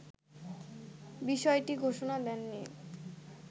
বিষয়টির ঘোষণা দেননি